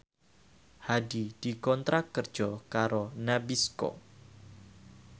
Hadi dikontrak kerja karo Nabisco